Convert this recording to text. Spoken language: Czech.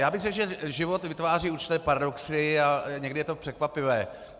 Já bych řekl, že život vytváří určité paradoxy a někdy je to překvapivé.